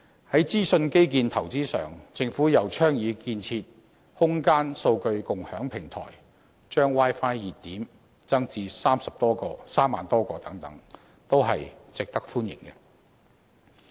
在資訊基建投資上，政府又倡議建設"空間數據共享平台"，把 Wi-Fi 熱點增至3萬多個等，均值得歡迎。